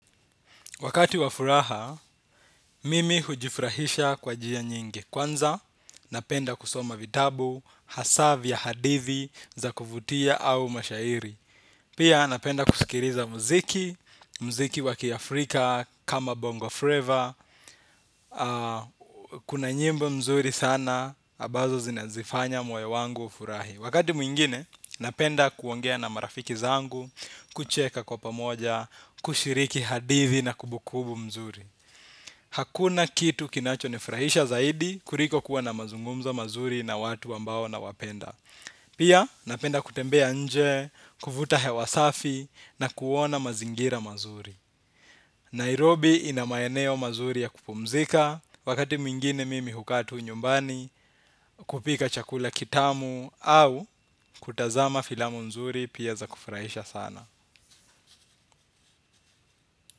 Wakati wa furaha, mimi hujifurahisha kwa njia nyingi kwanza, napenda kusoma vitabu, hasa vya hadithi za kuvutia au mashairi. Pia napenda kusikiliza mziki, mziki wa kiafrika kama bongo fleva. Kuna nyimbo mzuri sana, ambazo zinaufanya moyo wangu ufurahi. Wakati mwingine, napenda kuongea na marafiki zangu, kucheka kwa pamoja, kushiriki hadithi na kumbukumbu mzuri. Hakuna kitu kinacho nifurahisha zaidi kuliko kuwa na mazungumzo mazuri na watu ambao nawapenda. Pia napenda kutembea nje, kuvuta hewa safi na kuona mazingira mazuri. Nairobi ina maeneo mazuri ya kupumzika wakati meingine mimi hukaa tu nyumbani kupika chakula kitamu au kutazama filamu nzuri pia za kufurahisha sana.